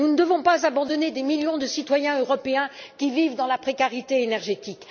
Nous ne devons pas abandonner des millions de citoyens européens qui vivent dans la précarité énergétique.